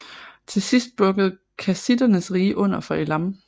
Til sidst bukkede kassitternes rige under for Elam